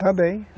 Também.